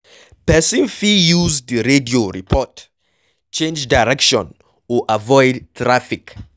Person fit use di radio report, change direction or avoid traffic